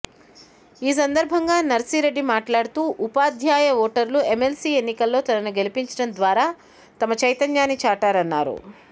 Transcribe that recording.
ఈ సందర్భంగా నర్సిరెడ్డి మాట్లాడుతు ఉపాధ్యాయ ఓటర్లు ఎమ్మెల్సీ ఎన్నికల్లో తనను గెలిపించడం ద్వారా తమ చైతన్యాన్ని చాటారన్నారు